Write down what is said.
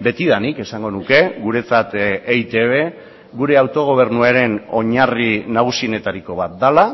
betidanik esango nuke guretzat eitb gure autogobernuaren oinarri nagusienetariko bat dela